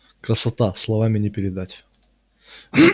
красота словами не передать